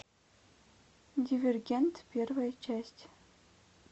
дивергент первая часть